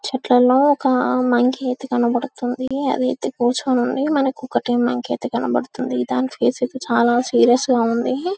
చెట్లల్లో ఒక మంకీ అయితే కనపడుతుంది అది అయితే కూర్చొని ఉంది మనకి ఒకటే మంకీ అయితే కనబడుతుంది దాని ఫేస్ అయితే చాల సీరియస్ గా ఉంది